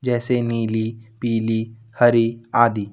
जैसे नीली पीली हरी आदि।